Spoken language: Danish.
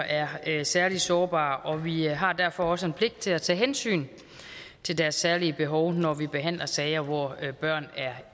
er særlig sårbare og vi har derfor også en pligt til at tage hensyn til deres særlige behov når vi behandler sager hvor børn er